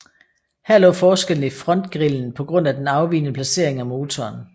Her lå forskellen i frontgrillen på grund af den afvigende placering af motoren